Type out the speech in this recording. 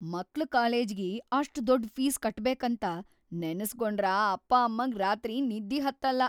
ಮಕ್ಳ ಕಾಲೇಜಿಗಿ ಅಷ್ಟ್‌ ದೊಡ್ಡ್‌ ಫೀಸ್‌ ಕಟ್ಟಬೇಕಂತ ನೆನಸ್ಗೊಂಡ್ರ ಅಪ್ಪಾಅಮ್ಮಗ್‌ ರಾತ್ರಿ ನಿದ್ದಿ ಹತ್ತಲ್ಲಾ.